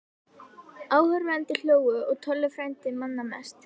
Áhorfendur hlógu og Tolli frændi manna mest.